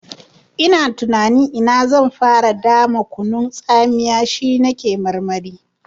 Ina tunanin ta ina zan fara dama kunun tsamiya, shi na ke marmari.